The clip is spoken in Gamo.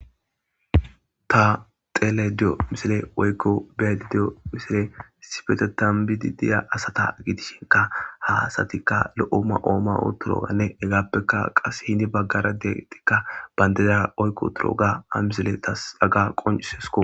Ta dhelayda diyo misile woyko be7ayda diyo misiley isipetetan bidi diya asata gidishinka. ha asatika lo7o ma7o ma7i wutidoganne hegappeka qasse heni bagara de7izaytika bandira oyki wutidoga hamisileya haga tasi qoncises.